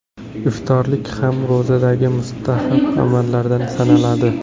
Iftorlik ham ro‘zadagi mustahab amallardan sanaladi.